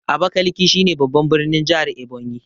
Abakiliki shi ne babban birnin jahar Ebonyi